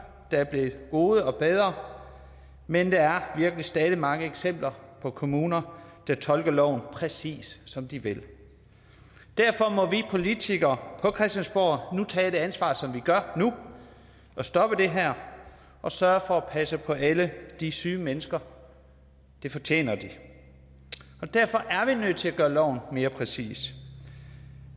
der er blevet gode og bedre men der er virkelig stadig mange eksempler på kommuner der tolker loven præcis som de vil derfor må vi politikere på christiansborg tage et ansvar som vi gør nu og stoppe det her og sørge for at passe på alle de syge mennesker det fortjener de og derfor er vi nødt til at gøre loven mere præcis